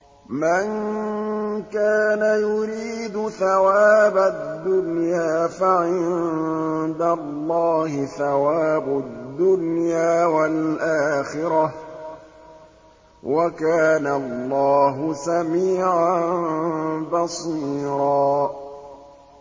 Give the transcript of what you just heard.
مَّن كَانَ يُرِيدُ ثَوَابَ الدُّنْيَا فَعِندَ اللَّهِ ثَوَابُ الدُّنْيَا وَالْآخِرَةِ ۚ وَكَانَ اللَّهُ سَمِيعًا بَصِيرًا